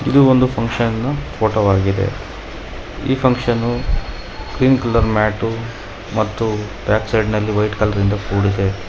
ಇದು ಒಂದು function photo ಆಗಿದೆ ಈ ಫುನ್ಕ್ಷನು ಗ್ರೀನ್ ಕಲರ್ ಮ್ಯಾಟು ಮತ್ತು ಬ್ಯಾಕ್ ಸೈಡ್ ನಲ್ಲಿ ವೈಟ್ ಕಲರ್ ನಿಂದ ಕೂಡಿದೆ.